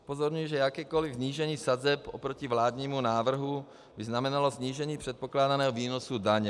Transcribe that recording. Upozorňuji, že jakékoliv snížení sazeb oproti vládnímu návrhu by znamenalo snížení předpokládaného výnosu daně.